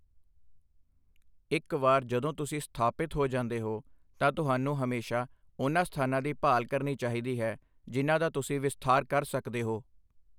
ਇੱਕ ਵਾਰ ਜਦੋਂ ਤੁਸੀਂ ਸਥਾਪਿਤ ਹੋ ਜਾਂਦੇ ਹੋ, ਤਾਂ ਤੁਹਾਨੂੰ ਹਮੇਸ਼ਾ ਉਨ੍ਹਾਂ ਸਥਾਨਾਂ ਦੀ ਭਾਲ ਕਰਨੀ ਚਾਹੀਦੀ ਹੈ ਜਿਨ੍ਹਾਂ ਦਾ ਤੁਸੀਂ ਵਿਸਥਾਰ ਕਰ ਸਕਦੇ ਹੋ।